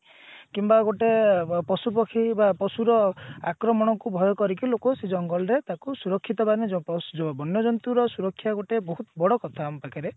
କିମ୍ବା ଗୋଟେ ପଶୁପକ୍ଷୀ ବା ପଶୁର ଆକ୍ରମଣକୁ ଭୟ କରିକି ଲୋକ ସେ ଜଙ୍ଗଲ ରେ ତାକୁ ସୁରକ୍ଷିତ ମାନେ ବନ୍ୟ ଜନ୍ତୁର ସୁରକ୍ଷା ଗୋଟେ ବହୁତ ବଡ କଥା ଆମ ପାଖରେ